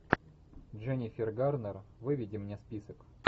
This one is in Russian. дженнифер гарнер выведи мне список